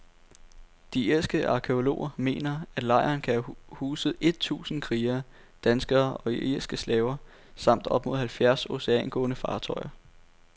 De irske arkæologer mener, at lejren kan have huset et tusinde krigere, danskere og irske slaver, samt op mod halvfjerds oceangående fartøjer.